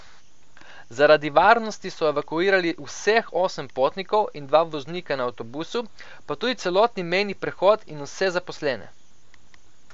Zaradi varnosti so evakuirali vseh osem potnikov in dva voznika na avtobusu, pa tudi celotni mejni prehod in vse zaposlene.